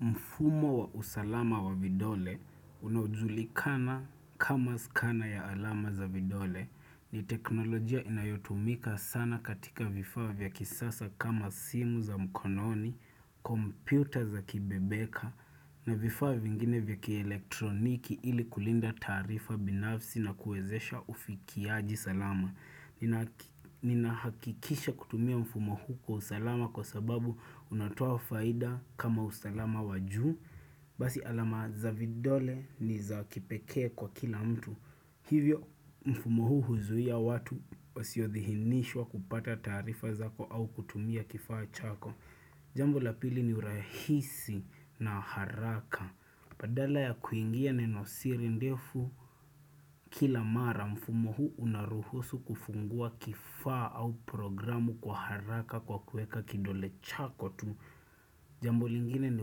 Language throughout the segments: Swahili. Mfumo wa usalama wa vidole unajulikana kama skana ya alama za vidole ni teknolojia inayotumika sana katika vifaa vya kisasa kama simu za mkononi, kompyuta za kibebeka na vifaa vingine vya kielektroniki ili kulinda taarifa binafsi na kuwezesha ufikiaji salama. Nina hakikisha kutumia mfumo huu kwa usalama kwa sababu unatoa faida kama usalama wajuu Basi alama za vidole ni za kipekee kwa kila mtu Hivyo mfumo huu huzuia watu wasiodhihinishwa kupata taarifa zako au kutumia kifaa chako Jambo la pili ni urahisi na haraka badala ya kuingia neno siri ndefu kila mara mfumo huu unaruhusu kufungua kifaa au programu kwa haraka kwa kueka kidole chako tu. Jambo lingine ni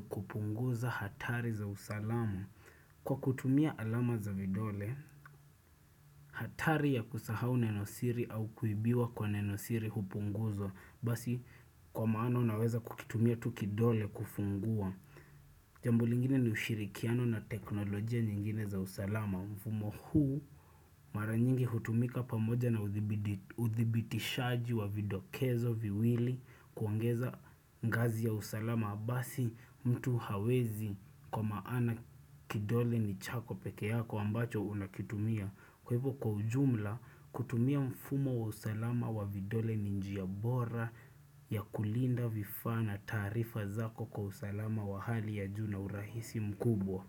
kupunguza hatari za usalama kwa kutumia alama za vidole. Hatari ya kusahau nenosiri au kuibiwa kwa nenosiri hupunguzwa basi kwa maana unaweza kukitumia tu kidole kufungua. Jambo lingine ni ushirikiano na teknolojia nyingine za usalama. Mfumo huu mara nyingi hutumika pamoja na uthibitishaji wa vidokezo viwili kuongeza ngazi ya usalama. Mabasi mtu hawezi kwa maana kidole ni chako peke yako ambacho unakitumia. Kwa hivyo kwa ujumla kutumia mfumo wa usalama wa vidole ni njia bora ya kulinda vifaa na taarifa zako kwa usalama wa hali ya juu na urahisi mkubwa.